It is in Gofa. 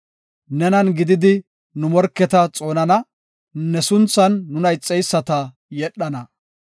Nenan gididi nu morketa xoonana; ne sunthan nuna ixeyisata yedhana.